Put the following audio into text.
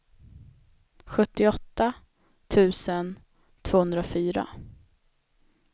sjuttioåtta tusen tvåhundrafyra